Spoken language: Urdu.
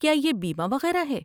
کیا یہ بیمہ وغیرہ ہے؟